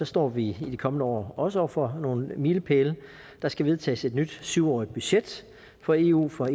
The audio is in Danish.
står vi i de kommende år også over for nogle milepæle der skal vedtages et nyt syv årig t budget for eu fra